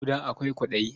Ƙuda akwai kwaɗayi.